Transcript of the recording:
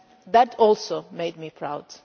That also made me proud.